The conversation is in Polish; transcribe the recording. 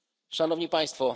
Szanowni Państwo!